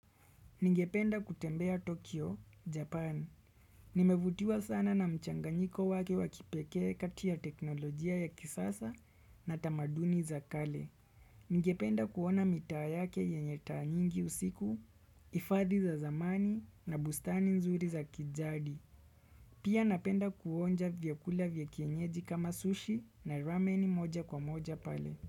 Ningependa kutembea Tokyo, Japan. Nimevutiwa sana na mchanganyiko wake wa kipekee kati ya teknolojia ya kisasa na tamaduni za kale. Ningependa kuona mitaa yake yenye taa nyingi usiku, ifadhi za zamani na bustani nzuri za kijadi. Pia napenda kuonja vyakula vya kienyeji kama sushi na ramen moja kwa moja pale.